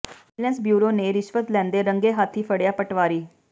vigilance bureau ਨੇ ਰਿਸ਼ਵਤ ਲੈਂਦੇ ਰੰਗੇ ਹੱਥੀ ਫੜਿਆ ਪਟਵਾਰੀ